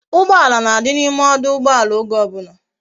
Ugbala na di na ime ọdụ̀ụgbọàlà oge obula